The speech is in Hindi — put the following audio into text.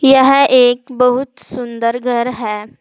यह एक बहुत सुंदर घर है।